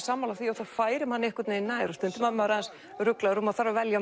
sammála því og það færir mann nær stundum er maður aðeins ruglaður og maður þarf að velja á